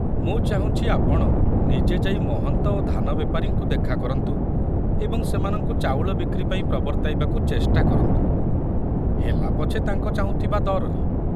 ମୁଁ ଚାହୁଁଛି ଆପଣ ନିଜେ ଯାଇ ମହନ୍ତ ଓ ଧାନବେପାରୀଙ୍କୁ ଦେଖା କରନ୍ତୁ ଏବଂ ସେମାନଙ୍କୁ ଚାଉଳ ବିକ୍ରି ପାଇଁ ପ୍ରବର୍ତ୍ତାଇବାକୁ ଚେଷ୍ଟା କରନ୍ତୁ, ହେଲା ପଛେ ତାଙ୍କ ଚାହୁଁଥିବା ଦରରେ।